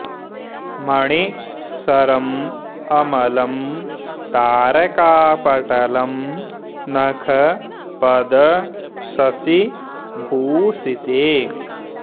मणि सरम् अमलम् तारका पटलम् नख पद शशि भूषिते